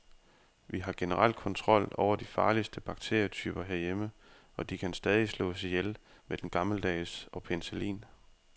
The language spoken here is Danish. Vi har generelt kontrol over de farligste bakterietyper herhjemme, og de kan stadig slås ihjel med den gammeldags og penicillin.